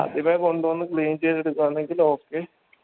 ആദ്യമേ കൊണ്ട് വന്ന clean ചെയ്ത് എടുക്കുവാണേൽ okey